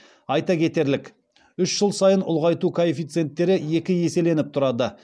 айта кетерлік үш жыл сайын ұлғайту коэффициенттері екі еселеніп тұрады